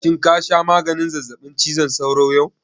Shin ka sha maganin zazzaɓin cizon sauron yau?